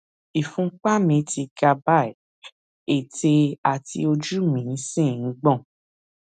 ìfúnpá mi ti ga báyìí ètè àti ojú mí sì ń gbọn